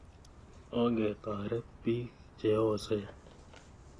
Onge toret piik che osen